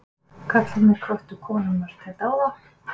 Karlarnir hvöttu konurnar til dáða